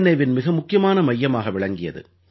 ஏவின் மிக முக்கியமான மையமாக விளங்கியது